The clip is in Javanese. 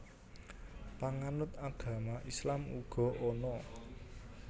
Panganut agama Islam uga ana